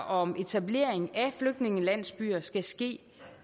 om etablering af flygtningelandsbyer skal ske